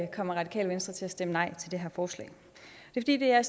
kommer radikale venstre til at stemme nej til det her forslag det er